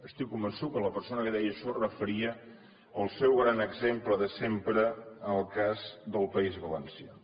estic convençut que la persona que deia això es referia al seu gran exemple de sempre el cas del país valencià